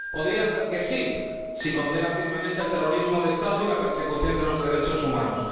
Podría ser que sí, si condena firmemente el terrorismo de Estado y la persecución de los derechos humanos